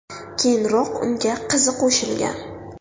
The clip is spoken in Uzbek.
Keyinroq unga qizi qo‘shilgan.